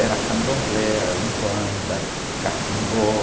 Era candomblé, eh, a umbanda, catimbó.